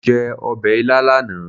Mo jẹ ọbẹ̀ ilá lánàá.